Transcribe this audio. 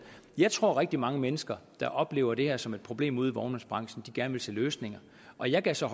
jeg tror at rigtig mange mennesker der oplever det her som et problem ude i vognmandsbranchen gerne vil se løsninger og jeg gav så